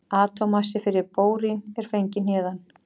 Atómmassi fyrir bórín er fenginn héðan.